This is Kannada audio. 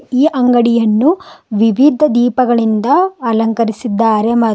ಈ ಅಂಗಡಿಯನ್ನು ವಿವಿಧ ದೀಪಗಳಿಂದ ಅಲಂಕರಿಸಿದ್ದಾರೆ ಮ --